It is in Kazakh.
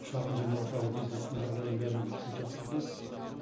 шағын және орта бизнестің жағдайын бәрін сіз жақсы білесіз